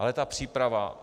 Ale ta příprava?